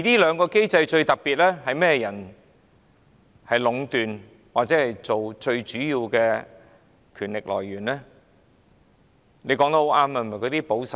這個機制由甚麼人壟斷，最主要的權力來源又是甚麼？